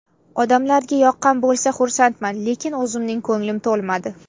Odamlarga yoqqan bo‘lsa, xursandman, lekin o‘zimning ko‘nglim to‘lmadi.